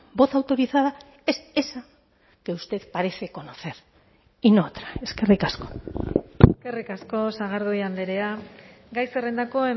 voz autorizada es esa que usted parece conocer y no otra eskerrik asko eskerrik asko sagardui andrea gai zerrendako